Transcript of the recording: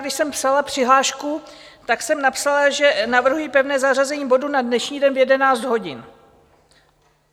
Když jsem psala přihlášku, tak jsem napsala, že navrhuji pevné zařazení bodu na dnešní den v 11 hodin.